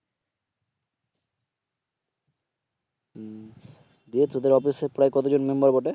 দিয়ে তোদের অফিস প্রায় কতজন মেম্বার বটে?